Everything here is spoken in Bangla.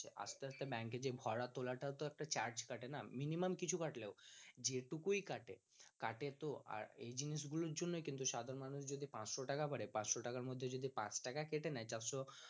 আস্তে আস্তে bank এ ভরা তোলাটাও একটা charge কাটে না minimum কিছু কাটলে ও যেটুকুই কাটে কাটে তো আর এই জিনিসগুলোর জন্যই সাধারণ মানুষ যদি পাঁচশ টাকা করে পাঁচশ টাকার মধ্যে যদি পাঁচ টাকা কেটে নেয় চারশ